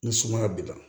Ni sumaya b'i la